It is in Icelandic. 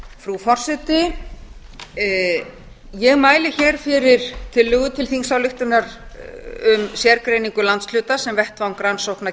frú forseti ég mæli hér fyrir tillögu til þingsályktunar um sérgreiningu landshluta sem vettvang rannsókna